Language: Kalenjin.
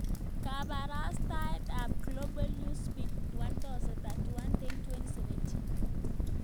Kabarastaosyek ab Global Newsbeat 1000 31.10.2017